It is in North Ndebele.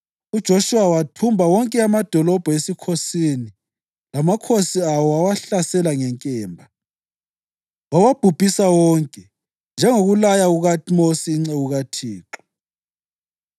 UJoshuwa wathumba wonke amadolobho esikhosini lamakhosi awo wawahlasela ngenkemba. Wawabhubhisa wonke, njengokulaya kukaMosi inceku kaThixo.